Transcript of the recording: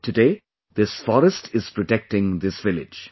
Today this forest is protecting this village